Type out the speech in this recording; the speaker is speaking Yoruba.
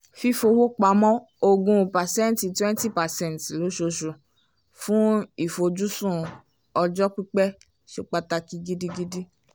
fífowó pamọ́ ogún percent twenty percent lósooṣù fún ìfojúsùn ọjọ́ pípẹ̀ ṣe pàtàkì gidigidi